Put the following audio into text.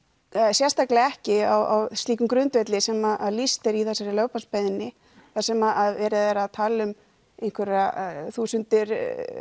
sérstaklega ekki á slíkum grundvelli sem lýst er í þessari lögbannsbeiðni þar sem er talað um einhverjar þúsundir